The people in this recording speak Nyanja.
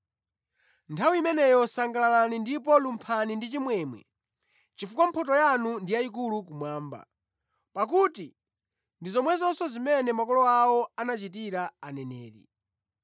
“Nthawi imeneyo sangalalani ndipo lumphani ndi chimwemwe chifukwa mphotho yanu ndi yayikulu kumwamba. Pakuti ndi zomwezonso zimene makolo awo anachitira aneneri.